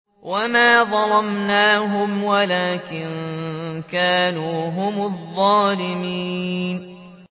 وَمَا ظَلَمْنَاهُمْ وَلَٰكِن كَانُوا هُمُ الظَّالِمِينَ